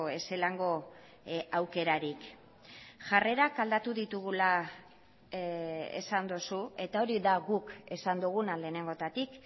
ezelango aukerarik jarrerak aldatu ditugula esan duzu eta hori da guk esan duguna lehenengotatik